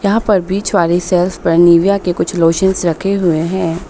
यहां पर बीच वाली सेल्स पर निविया के कुछ लेशंस रखे हुए हैं।